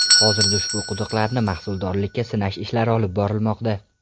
Hozirda ushbu quduqlarni mahsuldorlikka sinash ishlari olib borilmoqda.